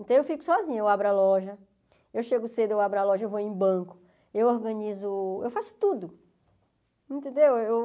Então eu fico sozinha, eu abro a loja, eu chego cedo, eu abro a loja, eu vou em banco, eu organizo, eu faço tudo, entendeu? Eu